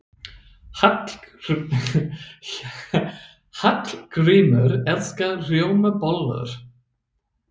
Hallgrímur elskar rjómabollur.